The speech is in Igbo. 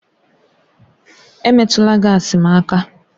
Emetụla gaasi m aka!